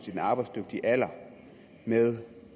i den arbejdsdygtige alder med